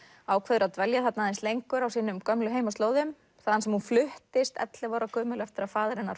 ákveður að dvelja aðeins lengur á sínum gömlu heimaslóðum þaðan sem hún fluttist ellefu ára gömul eftir að faðir hennar